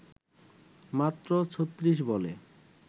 মাত্র ৩৬ বলে